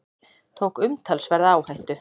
Tók umtalsverða áhættu